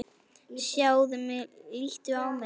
Sjáðu mig, líttu á mig.